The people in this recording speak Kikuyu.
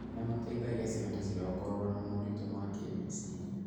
Nĩ mateithagia ciana ciao kũrũa na moritũ ma kĩmeciria.